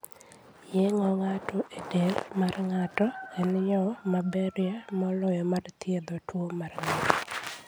Yeng'o ng'ato e del mar ng'ato en yo maberie moloyo mar thiedho tuwo mar ng'ato.